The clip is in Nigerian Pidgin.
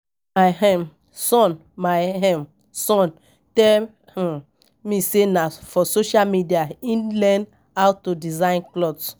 My um son My um son tell um me say na for social media e learn how to design cloth